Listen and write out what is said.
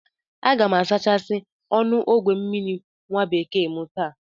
Aga m asachasi ọnụ ogwe mmiri nwabekee m taa